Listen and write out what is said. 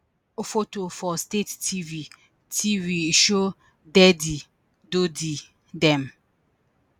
photo for state tv tv show deadi dodi dem